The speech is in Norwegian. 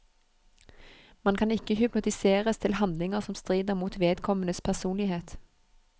Man kan ikke hypnotiseres til handlinger som strider mot vedkommendes personlighet.